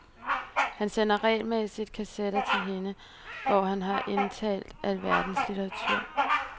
Han sender regelmæssigt kassetter til hende, hvor han har indtalt alverdens litteratur.